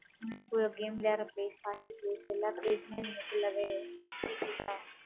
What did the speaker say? நீங்க போய் ஒரு game விளையாடற place party place எல்லா place மே, நீ full ஆவே, கேட்கறீங்களா?